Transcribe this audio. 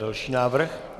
Další návrh.